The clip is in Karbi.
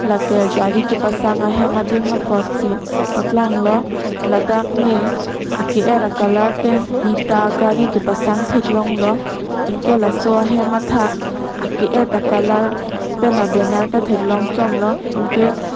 lake gari kepasang ahem adim apot si paklang lo ladak ne ake er a colour pen phli ta a gari kepasang thek long lo anke laso ahem athak ake et a colour pen abaner ta thek long chom lo anke --